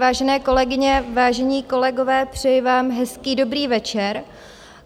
Vážené kolegyně, vážení kolegové, přeji vám hezký dobrý večer.